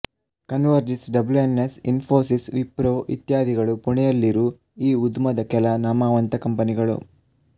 converges W N S Infosys Wipro ಇತ್ಯಾದಿಗಳು ಪುಣೆಯಲ್ಲಿರು ಈ ಉದ್ಮದ ಕೆಲ ನಾಮವಂತ ಕಂಪನಿಗಳು